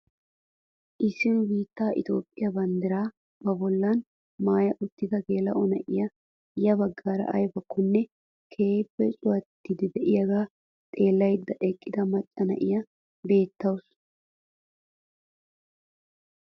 Issi nu biittaa itophphiyaa banddiraa ba bolli maaya uttida geela'o na'iyaa ya baggaara aybakkonne keehippe cuwattiidi de'iyaagaa xeellayda eqqida macca na'iyaa beettawus.